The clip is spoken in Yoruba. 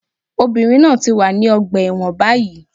Obìnrin náà ti wà ní ọgbà ẹ̀wọ̀n báyìí